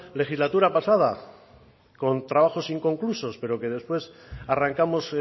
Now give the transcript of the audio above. legislatura pasada con trabajos inconclusos pero que después arrancamos